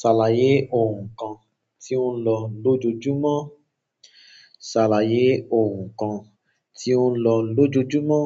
Ṣàlàyé oun kan tí ó ń lọ lójoojúmọ́. Ṣàlàyé oun kan tí o ń lọ lójoojúmọ́.